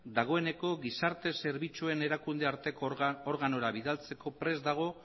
dagoeneko gizarte zerbitzuen erakunde arteko organora bidaltzeko prest dago